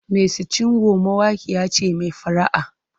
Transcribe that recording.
Mercy Chinwo mawaƙiya ce mai fara'a.